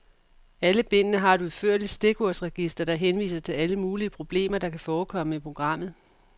Alle bindene har et udførligt stikordsregister, der henviser til alle mulige problemer, der kan forekomme i programmet.